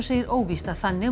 segir óvíst að þannig